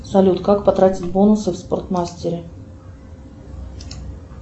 салют как потратить бонусы в спортмастере